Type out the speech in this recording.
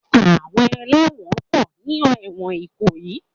Àwọn ẹlẹ́wọ̀n pọ̀ ní ẹ̀wọn Ìkòyí.